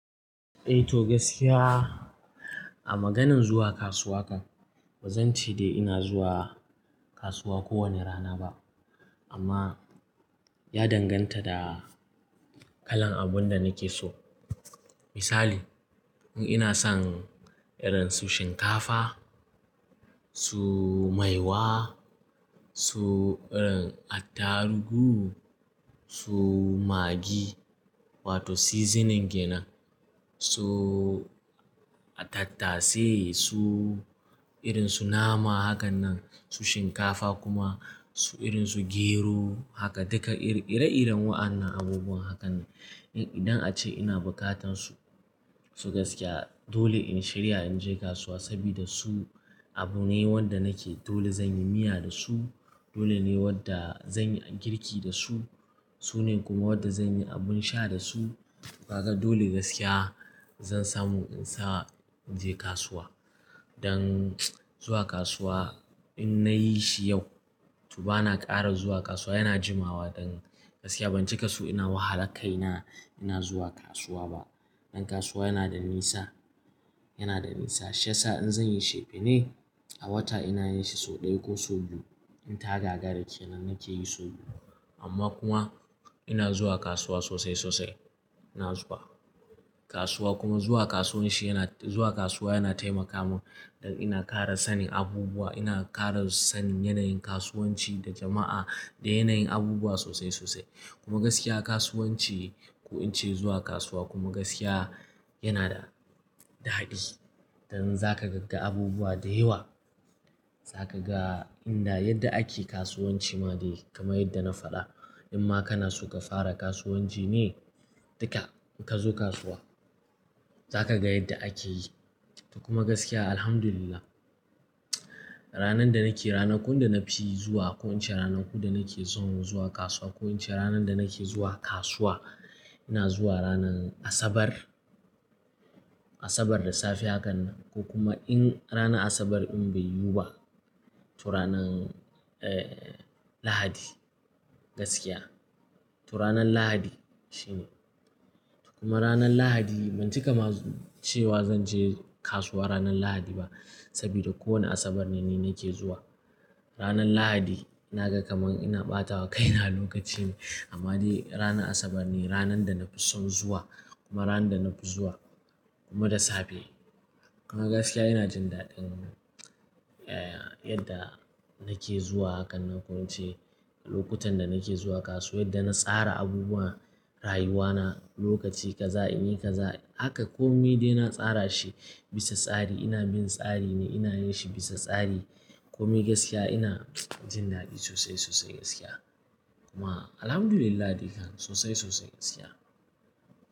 Eh to gaskiya a maganan zuwa kasuwa kan, bazan ce dai ina zuwa kasuwa kowane rana ba. Amma ya danganta da kalan abun da nake so. Misali, in ina son irin su shinkafa, su maiwa, su irin attarugu, su magi wato seasoning kena, su attatase, su irin su nama hakan nan, su shinkafa kuma su irin su gero haka duka ire-iren wa'annan abubuwan hakan. Idan ace ina buƙatan su, to gaskiya dole in shiryawa in je kasuwa sabida su abu ne wanda nake dole zan yi miya da su, dole ne wadda zan yi girki da su, su ne kuma wadda zan yi abun sha da su. Kaga dole gaskiya zan samu in sa in je kasuwa. Dan zuwa kasuwa in nayi shi yau, to bana ƙara zuwa kasuwa yana jimawa dan gaskiya bace kasuwa ina wahala kaina ina zuwa kasuwa ba. Dan kasuwa yana da nisa, yana da nisa. Shi yasa in zan yi cefane ne a wata ina yin shi sau ɗaya ko sau biyu. In tagaggara ke nan nake yi sau biyu. Amma kuma ina zuwa kasuwa sosai sosai. Ina zuwa kasuwa kuma zuwa kasuwan shi yana-- zuwa kasuwa yana taimaka mun dan ina ƙara sanin abubuwa, ina ƙara sanin yanayin kasuwanci da jama'a da yanayin abubuwa sosai sosai. Kuma gaskiya kasuwanci ko in ce zuwa kasuwa kuma gaskiya yana da, da daɗi. Dan zaka ga abubuwa da yawa, zaka ga inda yadda ake kasuwanci ma dai kamar yadda na faɗa. In ma kana so ka fara kasuwanci ne, duka ka zo kasuwa zaka ga yadda ake yi. Kuma gaskiya Alhamdulillah ranan da nake rana ko inda na fi zuwa ko in ce ranan ko da nake son zuwa kasuwa ko in ce ranan da nake zuwa kasuwa, ina zuwa ranan Asabar. Asabar da safe hakan nan ko kuma in ranan Asabar in bai yiwu ba to ranan, eh, Lahadi gaskiya. To ranan Lahadi shine. Kuma ranan Lahadi ban cika ma cewa zanje kasuwa ranan Lahadi ba sabida kowane Asabar ne ni nake zuwa. Ranan Lahadi ina ga kamar ina ɓatawa kaina lokaci ne amma dai ranan Asabar ne ranan da na fi son zuwa kuma ranan da na fi zuwa kuma da safe. Kuma gaskiya ina jin daɗin, eh, yadda nake zuwa hakan nan ko in ce lokutan da nake zuwa kasuwa yadda na tsara abubuwa, rayuwa na, lokaci kaza in yi kaza haka kome dai na tsara shi bisa tsari ina bin tsari ne ina yin shi bisa tsari. Kome gaskiya ina jin daɗi sosai sosai gaskiya. Kuma Alhamdulillah dukan sosai sosai gaskiya.